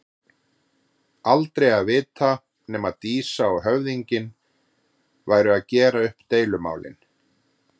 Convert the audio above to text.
Aldrei að vita nema Dísa og höfðinginn væru að gera upp deilumálin.